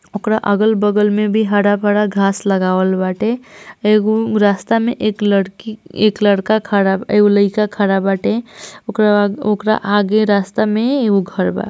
ओकरा अगल बगल में भी हरा भरा घास लगाले बाटे एगो रास्ता में एक लड़की एक लड़का खड़ा एगो लईका खड़ल बाटे ओकरा आगे रास्ते में एगो हर वा।